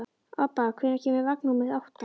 Obba, hvenær kemur vagn númer átta?